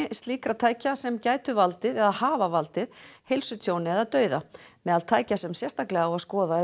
slíkra tækja sem gætu valdið eða hafa valdið heilsutjóni eða dauða meðal tækja sem sérstaklega á að skoða eru